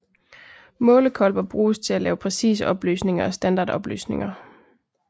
Målekolber bruges til at lave præcise opløsninger og standardopløsninger